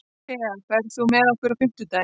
Thea, ferð þú með okkur á fimmtudaginn?